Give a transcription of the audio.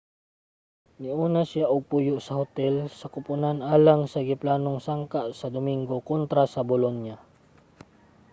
niuna na siya og puyo sa hotel sa kupunan alang sa giplanong sangka sa dominggo kontra sa bolonia